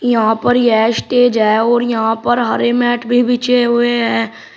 यहां पर यह स्टेज है और यहां पर हरे मैट भी बिछे हुए है।